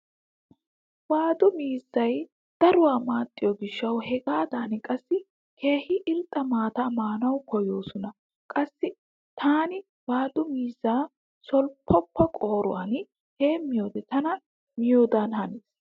Waadu miizzay daruwa maaxxiyo gishshawu hegaadan qassi keehi irxxa maata maanawu koyyoosona. Qassi taani waadu miizzaa solppoppa qooruwan heemmiyode ta miyodan hanees.